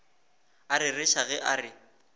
a rereša ge a re